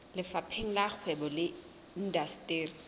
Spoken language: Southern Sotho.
lefapheng la kgwebo le indasteri